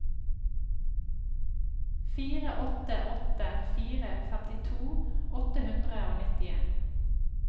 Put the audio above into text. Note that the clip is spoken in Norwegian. fire åtte åtte fire femtito åtte hundre og nittien